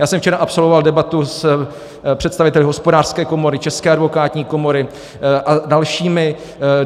Já jsem včera absolvoval debatu s představiteli Hospodářské komory, České advokátní komory a dalšími.